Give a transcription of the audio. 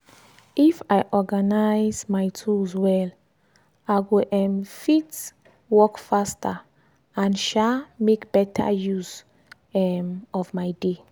if i organize my tools well i go um fit work faster and um make better use um of my day.